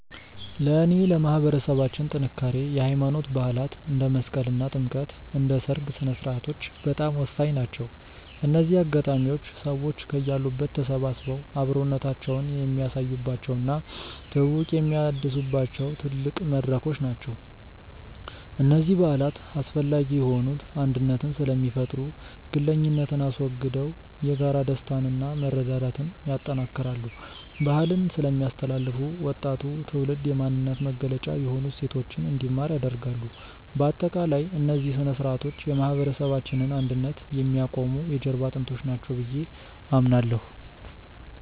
ለእኔ ለማህበረሰባችን ጥንካሬ የሃይማኖት በዓላት (እንደ መስቀልና ጥምቀት) እና የሰርግ ሥነ-ሥርዓቶች በጣም ወሳኝ ናቸው። እነዚህ አጋጣሚዎች ሰዎች ከያሉበት ተሰባስበው አብሮነታቸውን የሚያሳዩባቸው እና ትውውቅ የሚያድሱባቸው ትልቅ መድረኮች ናቸው። እነዚህ በዓላት አስፈላጊ የሆኑት አንድነትን ስለሚፈጥሩ፦ ግለኝነትን አስወግደው የጋራ ደስታንና መረዳዳትን ያጠናክራሉ። ባህልን ስለሚያስተላልፉ፦ ወጣቱ ትውልድ የማንነት መገለጫ የሆኑ እሴቶችን እንዲማር ያደርጋሉ። ባጠቃላይ፣ እነዚህ ሥነ-ሥርዓቶች የማህበረሰባችንን አንድነት የሚያቆሙ የጀርባ አጥንቶች ናቸው ብዬ አምናለሁ።